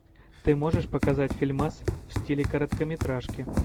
ты можешь показать фильмас в стиле короткометражки